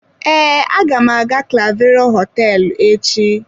Ee, aga m aga clavero hoteelu echi.